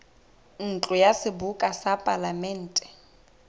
ntlo ya seboka ya palamente